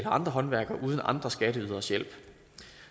andre håndværkere uden andre skatteyderes hjælp